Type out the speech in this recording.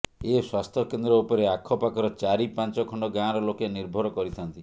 ଏ ସ୍ବାସ୍ଥ୍ୟ କେନ୍ଦ୍ର ଉପରେ ଆଖପାଖର ଚାରି ପାଞ୍ଚ ଖଣ୍ଡ ଗାଁର ଲୋକେ ନିର୍ଭର କରିଥାନ୍ତି